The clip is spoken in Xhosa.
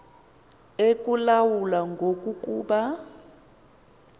ekulawula ngoku kuba